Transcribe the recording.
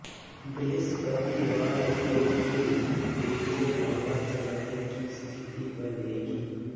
बृहस्पतिवार के दिन भी तेज हवा चलने की स्थिति बनेगी